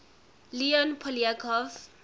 leon poliakov